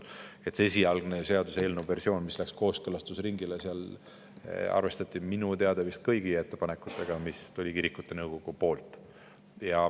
Seaduseelnõu versioonis, mis läks kooskõlastusringile, arvestati minu teada kõigi ettepanekutega, mis tulid kirikute nõukogult.